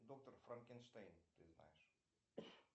доктор франкенштейн ты знаешь